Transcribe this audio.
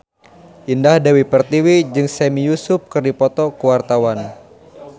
Indah Dewi Pertiwi jeung Sami Yusuf keur dipoto ku wartawan